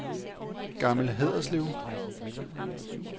Gammel Haderslev